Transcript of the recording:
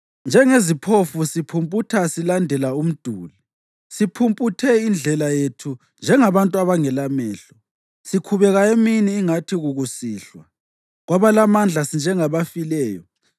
Njengeziphofu siphumputha silandela umduli, siphumputhe indlela yethu njengabantu abangelamehlo. Sikhubeka emini ingathi kukusihlwa; kwabalamandla, sinjengabafileyo.